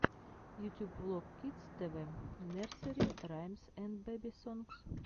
ютюб влог кидс тэ вэ нерсери раймс энд бэби сонгс